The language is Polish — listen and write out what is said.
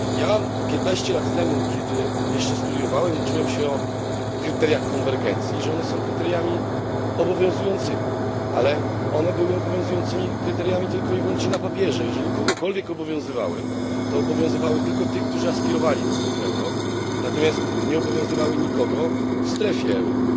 Ja 15 lat temu, kiedy jeszcze studiowałem, uczyłem się o kryteriach konwergencji, że one są kryteriami obowiązującymi. Ale one były obowiązującymi kryteriami tylko i wyłącznie na papierze. Jeżeli kogokolwiek obowiązywały, to obowiązywały tylko tych, którzy aspirowali do strefy euro, natomiast nie obowiązywały nikogo w strefie euro.